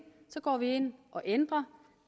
går vi ind og ændrer